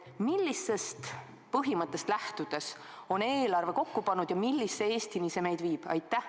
Millisest põhimõttest lähtudes on eelarve kokku pandud ja millise Eestini see meid viib?